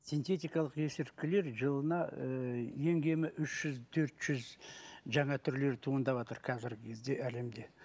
синтетикалық есірткілер жылына ыыы ең кемі үш жүз төрт жүз жаңа түрлері туындаватыр қазіргі кезде әлемде